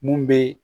Mun bɛ